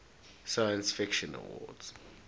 science fiction awards